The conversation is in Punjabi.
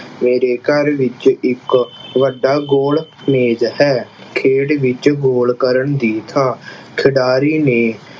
ਮੇਰੇ ਘਰ ਵਿੱਚ ਇੱਕ ਵੱਡਾ goal ਮੇਜ਼ ਹੈ। ਖੇਡ ਵਿੱਚ goal ਕਰਨ ਦੀ ਥਾਂ ਖਿਡਾਰੀ ਨੇ